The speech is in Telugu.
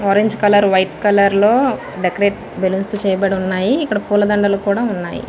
ఆరెంజ్ కలర్ వైట్ కలర్ లో డెకరేట్ బెలూన్స్ తో చేయబడి ఉన్నాయి. ఇక్కడ పూల దండలు కూడా ఉన్నాయి.